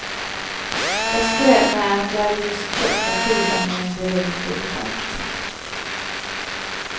Jag skröt med att jag just köpt en skiva med en berömd dirigent.